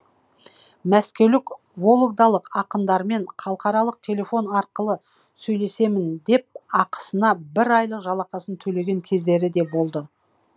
мәскеулік вологдалық ақындармен халықаралық телефон арқылы сөйлесемін деп ақысына бір айлық жалақысын төлеген кездері де болды